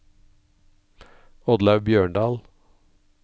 Oddlaug Bjørndal